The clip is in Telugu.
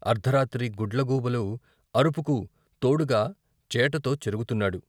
అర్ధరాత్రి గుడ్ల గూబలు అరుపుకు తోడుగా చేటతో చెరుగుతున్నాడు.